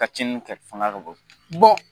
Ka tiɲɛni kɛ fana bɔ